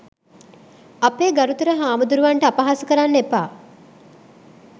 අපේ ගරුතර හාමුදුරුවන් ට අපහාස කරන්න එපා